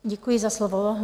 Děkuji za slovo.